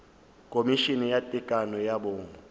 khomišene ya tekano ya bong